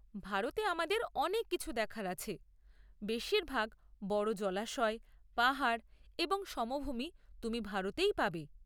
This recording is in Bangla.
ভারতে আমাদের অনেক কিছু দেখার আছে, বেশিরভাগ বড় জলাশয়, পাহাড় এবং সমভূমি তুমি ভারতেই পাবে।